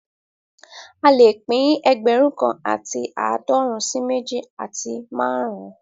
A lè pín ẹgbẹ̀rún kan àti aadọrun sí méjì àti márùn-ún